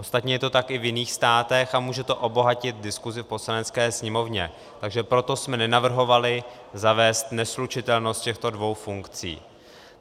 Ostatně je to tak i v jiných státech a může to obohatit diskusi v Poslanecké sněmovně, takže proto jsme nenavrhovali zavést neslučitelnost těchto dvou funkcí.